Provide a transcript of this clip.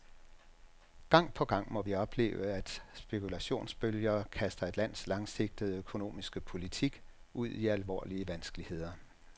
Gang på gang må vi opleve, at spekulationsbølger kaster et lands langsigtede økonomiske politik ud i alvorlige vanskeligheder.